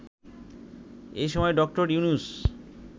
এ সময় ড. ইউনূস